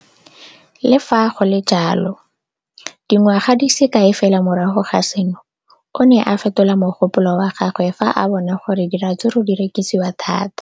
Le fa go le jalo, dingwaga di se kae fela morago ga seno, o ne a fetola mogopolo wa gagwe fa a bona gore diratsuru di rekisiwa thata.